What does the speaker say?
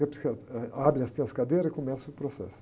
psiquiatra, eh, abre, assim, as cadeiras e começa o processo.